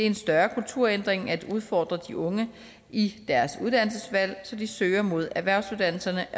en større kulturændring at udfordre de unge i deres uddannelsesvalg så de søger mod erhvervsuddannelserne